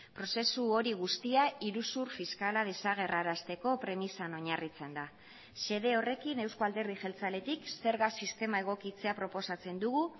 prozesu hori guztia iruzur fiskala desagerrarazteko premisan oinarritzen da xede horrekin euzko alderdi jeltzaletik zerga sistema egokitzea proposatzen dugu